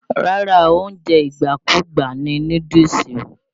Rárá o, oúnjẹ ìgbàkúgbà ni núdúùsù.